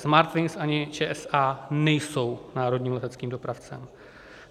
Smartwings ani ČSA nejsou národním leteckým dopravcem.